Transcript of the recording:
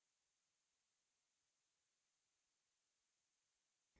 और हम tables खोलेंगे